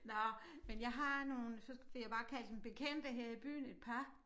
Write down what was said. Nåh men jeg har nogle så vil jeg bare kalde dem bekendte her i byen et par